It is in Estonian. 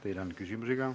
Teile on küsimusi ka.